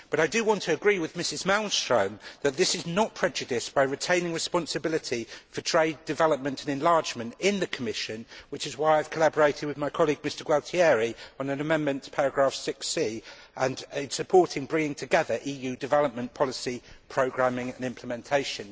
But I do want to agree with Mrs Malmström that this is not prejudiced by retaining responsibility for trade development and enlargement in the Commission, which is why I have collaborated with my colleague, Mr Gualtieri, on an amendment to paragraph 6 supporting bringing together EU development policy programming and implementation.